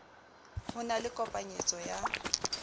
ho na le kopanyetso ya